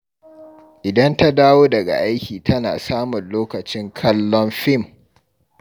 Idan ta dawo daga aiki tana samun lokacin kallon fim